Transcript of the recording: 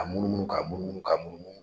Ka munumunu k'a munumunu ka munumunu.